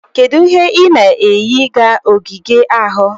Kedu ihe ị na-eyi ga ogige ahụ?